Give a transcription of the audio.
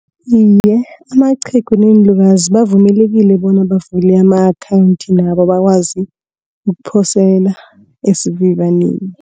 Iye, amaqhegu neenlukazi bavumelekile bona bavule ama-akhawunti nabo bakwazi ukuphosela esivivaneni.